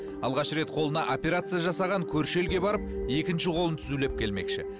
алғаш рет қолына операция жасаған көрші елге барып екінші қолын түзулеп келмекші